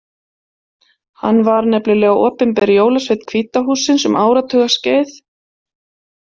Hann var nefnilega opinber jólasveinn Hvíta hússins um áratuga skeið.